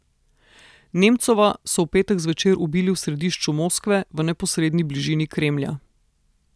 Nemcova so v petek zvečer ubili v središču Moskve v neposredni bližini Kremlja.